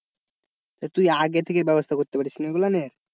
তো তুই আগে থেকে ব্যবস্থা করতে পারিসনি ওগুলা নিয়ে,